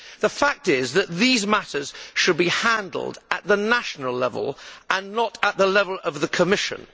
The fact is that these matters should be handled at the national level and not at the level of the Commission.